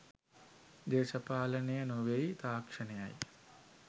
දේශපාලනය නොවෙයි තාක්ෂණයයි